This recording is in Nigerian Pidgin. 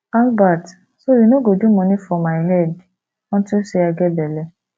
albert so you no go do money for my head unto say i get bele